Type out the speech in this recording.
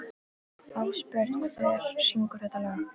Ásbjörn, hver syngur þetta lag?